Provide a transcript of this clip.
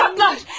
Alçaqlar!